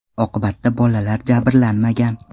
Oqibatda bolalar jabrlanmagan.